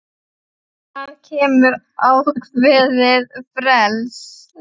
Það gefur ákveðið frelsi.